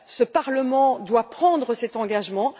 Ce Parlement doit prendre cet engagement.